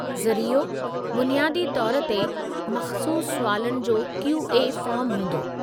ज़रियो, बुनियादी तौरु ते मख़्सूसु सुवालातनि जो क्यू.ए. फ़ार्म हूंदो।